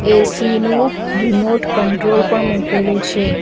AC નું remote control પણ મૂકેલું છે.